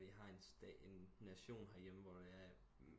Vi har en nation her hjemme hvor der er